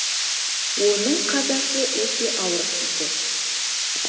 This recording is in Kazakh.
оның қазасы өте ауыр тиді